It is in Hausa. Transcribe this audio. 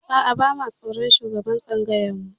A'a, ba mu tsoron shugaban tsangayar mu.